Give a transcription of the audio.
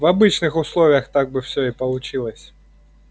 в обычных условиях так бы всё и получилось